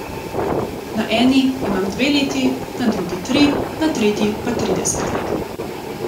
Na eni imam dve leti, na drugi tri, na tretji pa trideset let.